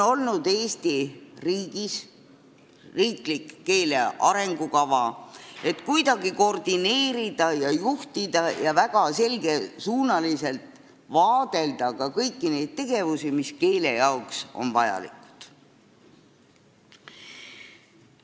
Eesti riigis on riiklik eesti keele arengukava, selleks et kuidagi koordineerida, juhtida ja väga selgesuunaliselt vaadelda ka kõiki neid tegevusi, mis on keele jaoks vajalikud.